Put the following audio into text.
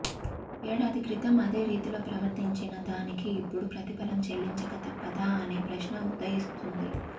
ఏడాది క్రితం అదే రీతిలో ప్రవర్తించిన దానికి ఇప్పుడు ప్రతిఫలం చెల్లించక తప్పదా అనే ప్రశ్న ఉదయిస్తోంది